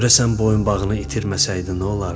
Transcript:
Görəsən boyunbağını itirməsəydi nə olardı?